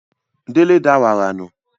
Délé da wàrà nù